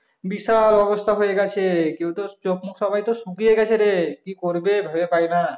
বিশাল অবস্থা হয়ে গেছে কেউ তো চোখমুখ সবার তো শুকিয়ে গেছে রে কি করবে ভেবে পাইবে না